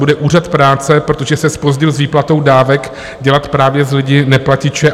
Bude Úřad práce, protože se zpozdil s výplatou dávek, dělat právě z lidí neplatiče?